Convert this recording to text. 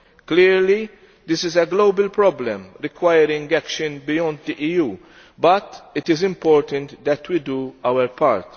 Clearly, this is a global problem, requiring action beyond the EU, but it is important that we do our part.